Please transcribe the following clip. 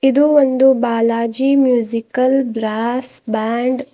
ಇದು ಒಂದು Balaji musical brass band .